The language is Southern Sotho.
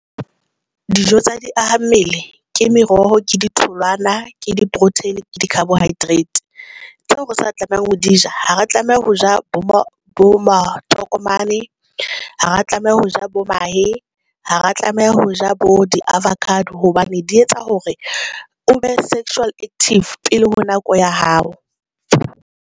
Dijo tsa di aha mmele ke meroho ke di tholwana ke di-protein, ke di-carbohydrate tseo re sa tlamehang ho di ja ha re tlameha ho ja bo ma makotomane ha re tlameha ho ja bo mahe ha re tlameha ho ja bo di-avocado hobane di etsa hore o be sexually active pele ho nako ya hao.